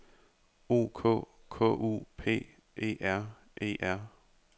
O K K U P E R E R